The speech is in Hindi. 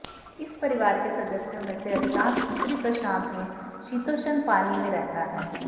इस परिवार के सदस्यों में से अधिकांश उत्तरी प्रशांत में शीतोष्ण पानी में रहता है